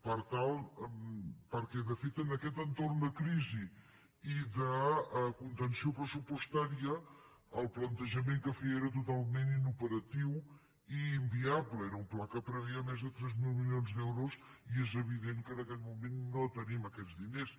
perquè de fet en aquest entorn de crisi i de conten·ció pressupostària el plantejament que feia era total·ment inoperatiu i inviable era un pla que preveia més de tres mil milions d’euros i és evident que en aquest moment no tenim aquests diners